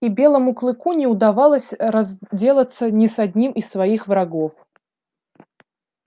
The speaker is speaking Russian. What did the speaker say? и белому клыку не удавалось разделаться ни с одним из своих врагов